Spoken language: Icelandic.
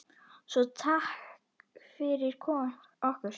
Svo takk fyrir okkur.